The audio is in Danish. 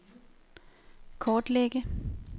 kortlægge